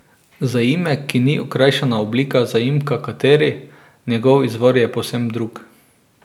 Zaimek ki ni okrajšana oblika zaimka kateri, njegov izvor je povsem drug.